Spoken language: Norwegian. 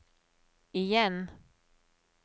igjen